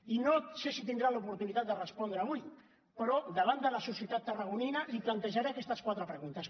i no sé si tindrà l’oportunitat de respondre avui però davant de la societat tarragonina li plantejaré aquestes quatre preguntes